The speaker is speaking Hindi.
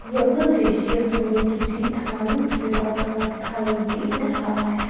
यह दृश्य हमें किसी धार्मिक जगह का दिखाई दे रहा है।